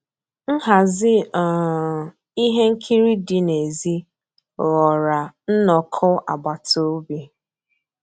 Nhàzí um íhé nkírí dị́ n'èzí ghọ́ọ́rà nnọ́kọ́ àgbàtà òbí.